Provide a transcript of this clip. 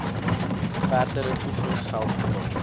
verdere toegangsgeld betaal